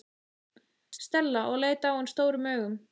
Stella og leit á hann stórum augum.